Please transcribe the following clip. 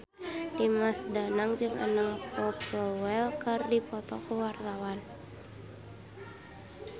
Dimas Danang jeung Anna Popplewell keur dipoto ku wartawan